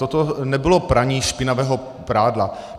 Toto nebylo praní špinavého prádla.